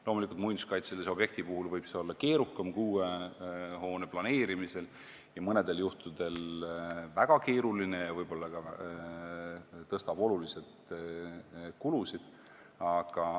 Loomulikult, muinsuskaitselise objekti puhul võib see olla keerukam kui uue hoone planeerimisel, mõnel juhul võib see olla väga keeruline ja võib ka oluliselt kulusid suurendada.